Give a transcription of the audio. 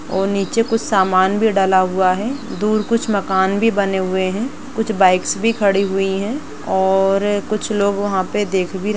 और नीचे कुछ समान भी डला हुआ है | दूर कुछ मकान भी बने हुए हैं | कुछ बाइकस भी खड़ी हुई है और कुछ लोग वहाँ पे देख भी रहे --